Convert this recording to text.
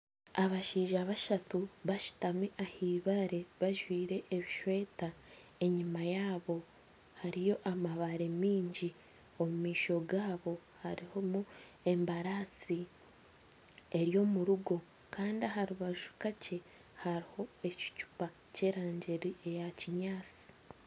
Abashaija bashatu bashutami aha ibaare bajwire eshweta. Enyima yaabo hariyo amabaare mingi. Omu maisho gaabo harimu embarasi eri omu rugo Kandi aha rubaju kakye hariho ekicupa ky'erangi ya kinyaansi